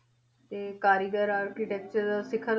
ਤੇ ਕਾਰੀਗਰ architecture ਸਿਖ਼ਰ